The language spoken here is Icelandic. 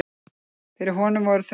Fyrir honum voru þau enn